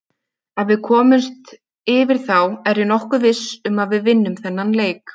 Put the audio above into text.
Ef við komumst yfir þá er ég nokkuð viss um að við vinnum þennan leik.